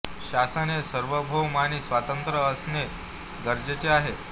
शासन हेेेेेेे सार्वभौम आणि स्वतंत्र असणे गरजेचे आहे